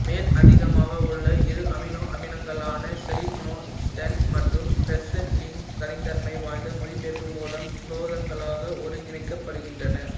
மேலதிகமாக உள்ள இரு அமினோ அமிலங்களான செலீனோசிஸ்டீன் மற்றும் பிரோலைசின் தனித்தன்மை வாய்ந்த மொழிபெயர்ப்பு மூலம் புரதங்களாக ஒருங்கிணைக்கப்படுகின்றன